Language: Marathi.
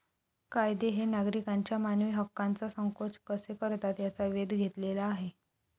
कायदे हे नागरिकांच्या मानवी हक्कांचा संकोच कसे करतात याचा वेध घेतलेला आहे.